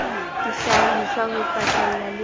dihlahiswa ho pakela le ho